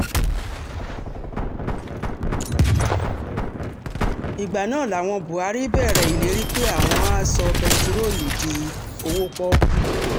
ìgbà náà làwọn buhari bẹ̀rẹ̀ ìlérí pé àwọn àá sọ bẹntiróòlù di òwò pọ́ọ́kú